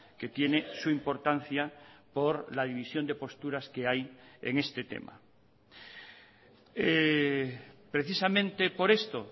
que tiene su importancia por la división de posturas que hay en este tema precisamente por esto